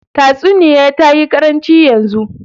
Tatsuniya tayi karancin yanzu.